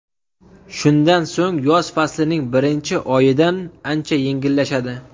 Shundan so‘ng yoz faslining birinchi oyidan ancha yengillashadi.